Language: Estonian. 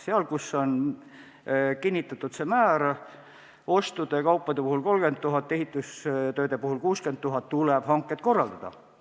Seal, kus see määr on kinnitatud – asjade ja teenuste puhul 30 000 eurot, ehitustööde puhul 60 000 eurot –, tuleb hanked korraldada.